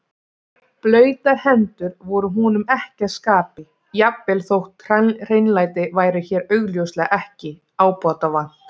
Blautar hendur voru honum ekki að skapi, jafnvel þótt hreinlæti væri hér augljóslega ekki ábótavant.